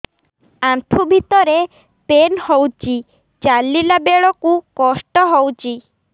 ଆଣ୍ଠୁ ଭିତରେ ପେନ୍ ହଉଚି ଚାଲିଲା ବେଳକୁ କଷ୍ଟ ହଉଚି